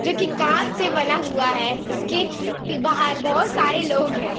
जो कि काँच से बना हुआ है। इसके पि बाहर बोहोत सारे लोग हैं।